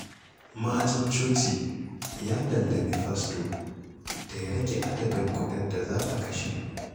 Ma'ajin coci ya lallami fasto da ya rage adadin kuɗin da za a kashe.